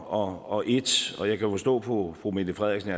og et og jeg kan forstå på fru mette frederiksen at